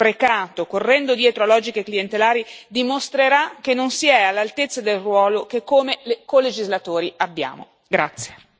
Ogni singolo euro sprecato correndo dietro a logiche clientelari dimostrerà che non si è all'altezza del ruolo che, come colegislatori, abbiamo.